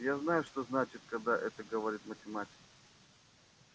я знаю что значит когда это говорит математик